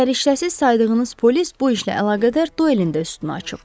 Səriştəsiz saydığınız polis bu işlə əlaqədar duelin də üstünü açıb.